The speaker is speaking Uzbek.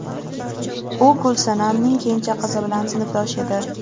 U Gulsanamning kenja qizi bilan sinfdosh edi.